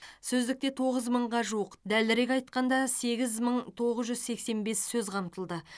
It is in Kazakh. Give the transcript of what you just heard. сөздікте тоғыз мыңға жуық дәлірек айтқанда сегіз мың тоғыз жүз сексен бес сөз қамтылды